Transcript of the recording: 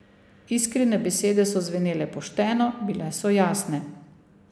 Iskrine besede so zvenele pošteno, bile so jasne.